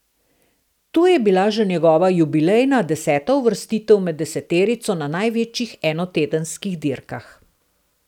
To je bila že njegova jubilejna, deseta uvrstitev med deseterico na največjih enotedenskih dirkah.